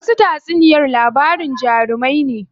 Wasu tatsuniyar labarin jarumai ne.